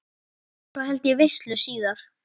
Svo held ég veislu síðar.